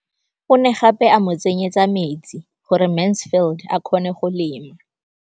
O ne gape a mo tsenyetsa metsi gore Mansfield a kgone go lema.